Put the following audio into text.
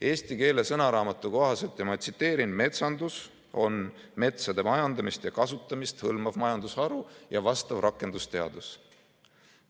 Eesti keele sõnaraamatu kohaselt on metsandus metsade majandamist ja kasutamist hõlmav majandusharu ja vastav rakendusteadus.